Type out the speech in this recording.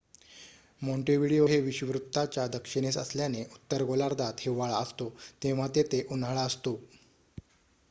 Montevideo हे विषुववृत्ताच्या दक्षिणेस असल्याने उत्तर गोलार्धात हिवाळा असतो तेव्हा तेथे उन्हाळा असतो